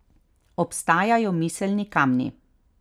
Obstajajo miselni kamni.